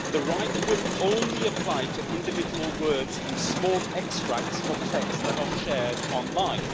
the right will only apply to individual words and small extracts of texts that are shared online